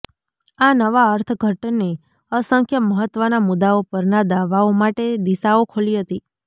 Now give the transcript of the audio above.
આ નવા અર્થઘટને અસંખ્ય મહત્ત્વના મુદ્દાઓ પરના દાવાઓ માટે દિશાઓ ખોલી હતી